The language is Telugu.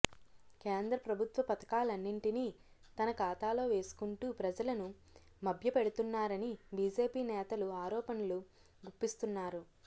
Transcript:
కేంద్ర ప్రభుత్వ పథకాలన్నింటినీ తన ఖాతాలో వేసుకుంటూ ప్రజలను మభ్య పెడుతున్నారని బీజేపీ నేతలు ఆరోపణలు గుప్పిస్తున్నారు